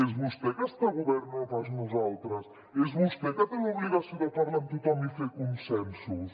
és vostè que està al govern no pas nosaltres és vostè que té l’obligació de parlar amb tothom i fer consensos